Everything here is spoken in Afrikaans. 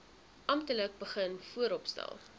amptelik begin vooropstel